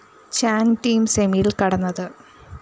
ചാന്‍ team സെമിയില്‍ കടന്നത്